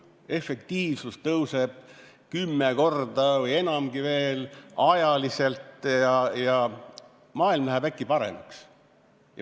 Efektiivsus tõuseb kümme korda või enamgi veel ajaliselt ja maailm läheb äkki paremaks.